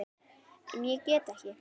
En ég get ekki.